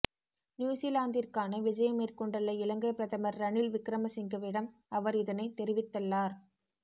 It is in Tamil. நியூஸிலாந்திற்கான விஜயம் மேற்கொண்டுள்ள இலங்கைப் பிரதமர் ரணில் விக்ரமசிங்கவிடம் அவர் இதனைக் தெரிவித்தள்ளார்